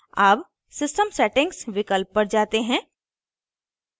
अब system settings विकल्प पर जाते हैं